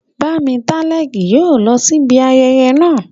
Bámitálẹ́ kì yóò lọ sí ibi ayẹyẹ naa